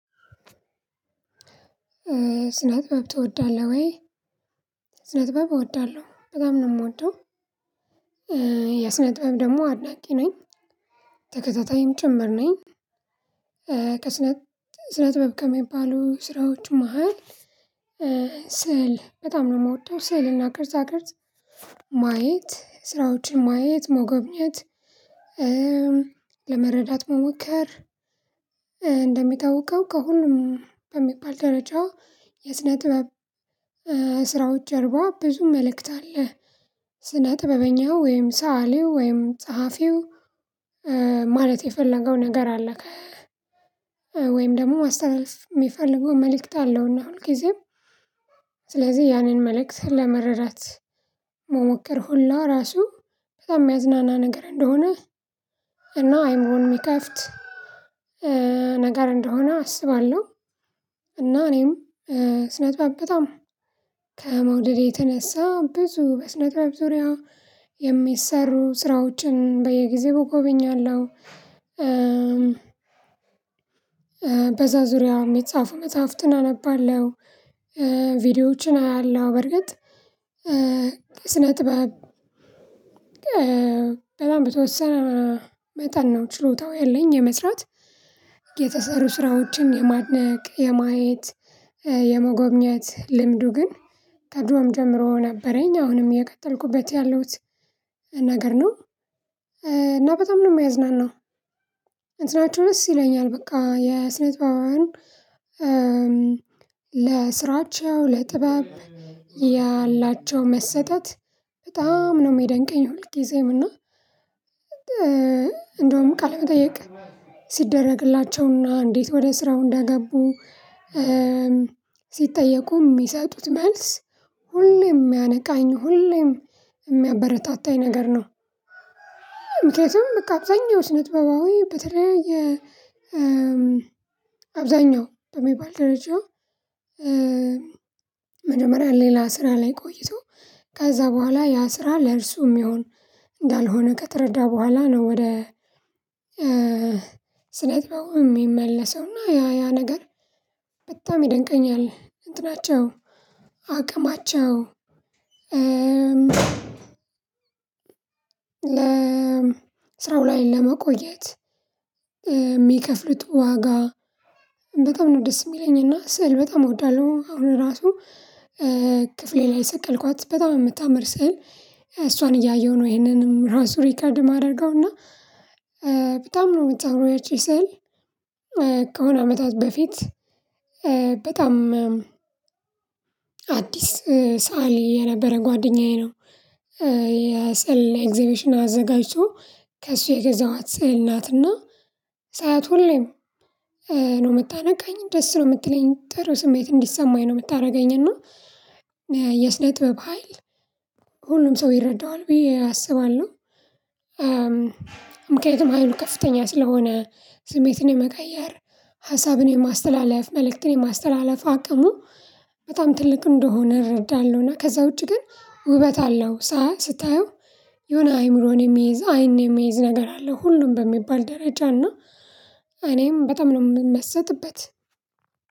ስነ ጥበብ ትወዳለህ ወይ? ስነ ጥበብ እወዳለሁ በጣም ነው የምወደው። የስነ ጥበብ ደግሞ አድናቂ ነኝ ተከታታይም ጭምር ነኝ። ከስነ ስነ ጥበብ ከሚባሉ ስራዎች መሃል። ስዕል በጣም ነው የምወደው ስዕልና ቅርጻቅርጽ ማየት ስራዎችን ማየት መጎብኘት ለመረዳት መሞከር። እንደሚታወቀው ከሁሉም በሚባል ደረጃ የስነ ጥበብ ስራዎች ጀርባ ብዙ መልእክት አለ። ጥበበኛው ወይም ሰዓሊው ወይም ጸሐፊው ማለት የፈለገው ነገር አለ። ወይም ደግሞ ማስተላለፍ የሚፈልገው መልእክት አለው እና ሁልጊዜም ስለዚህ ያንን መልእክት ለመረዳት መሞከር ሁላ ራሱ በጣም የሚያዝናና ነገር እንደሆነ። እና አይምሮን የሚከፍት ነገር እንደሆነ አስባለሁ። እና እኔም ስነጥበብ በጣም ከመውደዴ የተነሳ ብዙ በስነጥበብ ዙሪያ የሚሰሩ ስራዎችን በየጊዜው እጎበኛለሁ። በዛ ዙሪያ የሚጻፉ መጽሐፍትን አነባለሁ። ቪዲዮዎችን አያለው በርግጥ ከስነ ጥበብ በጣም በተወሰን መጠን ነው ችሎታው ያለኝ የመስራት። የተሰሩ ስራዎችን የማድነቅ የማየት የመጎብኘት ልምዱ ግን ከድሮም ጀምሮ ነበረኝ አሁንም እየቀጠልኩበት ያለሁት ነገር ነው። እና በጣም ነው የሚያዝናናው። እንትናቸው ደስ ይለኛል በቃ የስነ ጥበባውያን ለስራቸው ለጥበብ ያላቸው መሰጠት በጣም ነው የሚደንቀኝ። ሁልጊዜም እና እንደውም ቃለ መጠየቅ ሲደረግላቸውና እንዴት ወደ ስራው እንዳገቡ ሲጠየቁ የሚሰጡት መልስ ሁሌም የሚያነቃኝ ሁሌም የሚያበረታታኝ ነገር ነው። ምክንያቱም በቃ አብዛኛው ስነጥበባዊ በተለያየ አብዛኛው በሚባል ደረጃ መጀመሪያ ሌላ ስራ ላይ ቆይቶ ከዛ በኋላ ያ ስራ ለእርሱም ሚሆን እንዳልሆነ ከተረዳ በኋላ ነው። ወደ ስነ ጥበቡ የሚመለሰው እና ያ ያ ነገር በጣም ይደንቀኛል። እንትናቸው አቅማቸው ለ ስራው ላይ ለመቆየት የሚከፍሉት ዋጋ በጣም ነው ደስ የሚለኝ። እና ስዕል በጣም እወዳለሁ። አሁን ራሱ ክፍሌ ላይ የሰቀልኳት በጣም የምታምር ስዕል እሷን እያየሁ ነው ይሄንንም ራሱ ሪከርድ የማደርገው እና። በጣም ነው የምታምረው ያቺ ሰዕል ከሆነ አመታት በፊት በጣም አዲስ ሰአሊ የነበረ ጓደኛዬ ነው። የሰዕል ኤግዘቢሽን አዘጋጅቶ ከእሱ የገዛኋት ስዕል ናትና ሳያት ሁሌም ነው የምታነቃኝ ደስ ነው የምትለኝ ጥሩ ስሜት እንዲሰማኝ ነው የምታደርገኝ። እና ጥበብ ሀይል ሁሉም ሰው ይረዳዋል ብዬ አስባለሁ። ምክንያቱም ሀይሉ ከፍተኛ ስለሆነ ስሜትን የመቀየር ሀሳብን የማስተላለፍ መልእክትን የማስተላለፍ አቅሙ በጣም ትልቅ እንደሆነ እረዳለሁና። ከዛ ውጪ ግን ውበት አለው ሳ ስታየው የሆነ አይምሮን የሚይዝ አይን የሚይዝ ነገር አለ። ሁሉም በሚባል ደረጃ እና እኔም በጣም ነው የምመሰጥበት።